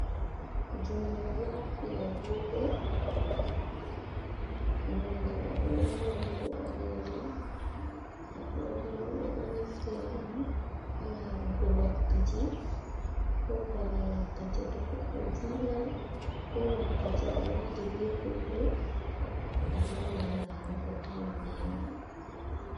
Jungo do haɓɓi agogo nonɗe agogo man bo balejum, agogo ɓedo naftira dum halarugo wakkati ko bana wakkati to goɗɗo julan ko wakkati a wadi be goɗɗo a dingan larugo time be mai.